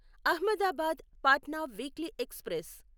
Ahmedabad Patna weekly express